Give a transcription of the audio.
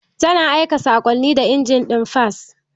Tana aika saƙonni da injin ɗin fas